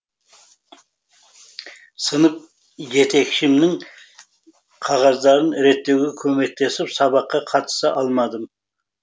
сынып жетекшімнің қағаздарын реттеуге көмектесіп сабаққа қатыса алмадым